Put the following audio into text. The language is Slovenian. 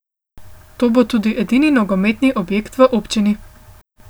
To bo tudi edini nogometni objekt v občini.